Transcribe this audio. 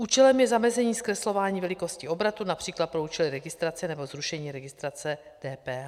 Účelem je zamezení zkreslování velikosti obratu například pro účely registrace nebo zrušení registrace DPH.